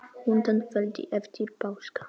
Undan feldi eftir páska?